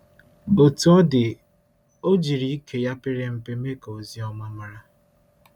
Otú ọ dị, ọ jiri ike ya pere mpe mee ka ozi ọma mara.